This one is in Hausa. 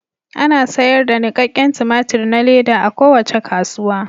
Ana sayar da nikakken tumatir na leda a kowace kasuwa.